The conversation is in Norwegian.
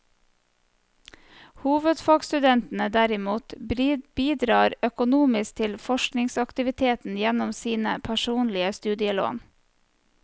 Hovedfagsstudentene derimot bidrar økonomisk til forskningsaktiviteten gjennom sine personlige studielån.